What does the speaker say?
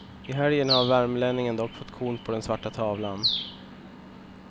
I helgen har värmlänningen dock fått korn på den svarta tavlan.